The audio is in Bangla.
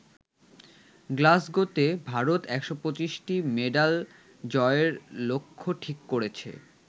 গ্লাসগোতে ভারত ১২৫টি মেডাল জয়ের লক্ষ্য ঠিক করেছে।